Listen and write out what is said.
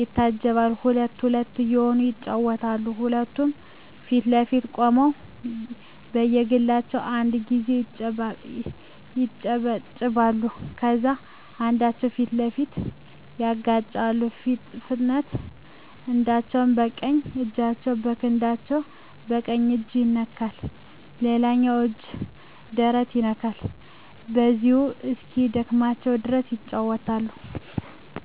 ይታጀባል ሁለት ሁለት እየሆኑ ይጫወቱታል ሁለቱም ፊት ለፊት ቆመው በየግላቸው አንድ ጊዜ ያጨበጭባሉ ከዛም እጃቸውን ፊት ለፊት ያጋጫሉ ፈጥነው አንዳቸው በቀኝ እጃቸው የክንዳቸው ቀኝ እጅ ይነካል ሌላኛው እጅ ደረት ይነካል በዚሁ እስኪደክማቸው ድረስ ይጫወታሉ።